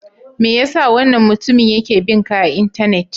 Me ya sa wannan mutumin yake bin ka a Intanet?